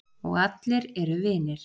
Og allir eru vinir.